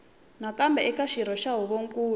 nakambe eka xirho xa huvonkulu